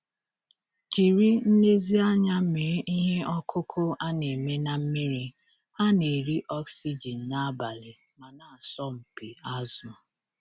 Jiri nlezianya mee ihe ọkụkụ a na-eme na mmiri - ha na-eri oxygen n'abalị ma na-asọmpi azụ.